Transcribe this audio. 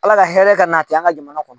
Ala ka hɛrɛ ka nati an ka jamana kɔnɔ